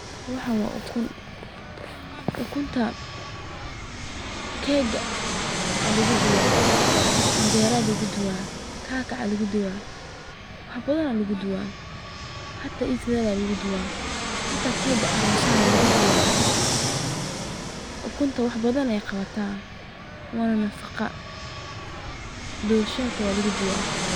Waxaan waa ulun, ukunta keeka ayaa lagu dubaa, canjera ayaa lagu dubaa, wax badan ayaa lagu dubaa, ayada sideeda xitaa waa ladibaa, wax badan ayeey qabtaa waana nafaqo.